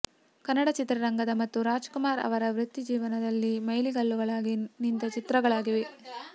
ಕನ್ನಡ ಚಿತ್ರರಂಗದ ಮತ್ತು ರಾಜ್ಕುಮಾರ್ ಅವರ ವೃತ್ತಿಜೀವನದಲ್ಲಿ ಮೈಲಿಗಲ್ಲುಗಳಾಗಿ ನಿಂತ ಚಿತ್ರಗಳಾಗಿವೆ